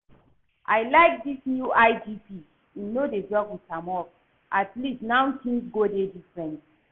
I like dis new IGP, im no dey joke with im work, atleast now things go dey different